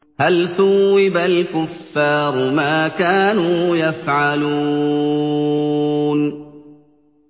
هَلْ ثُوِّبَ الْكُفَّارُ مَا كَانُوا يَفْعَلُونَ